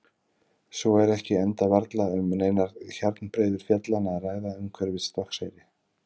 Svo er ekki enda varla um neinar hjarnbreiður fjallanna að ræða umhverfis Stokkseyri.